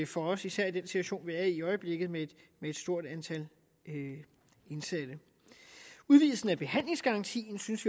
for os især i den situation vi er i i øjeblikket med et stort antal indsatte udvidelsen af behandlingsgarantien synes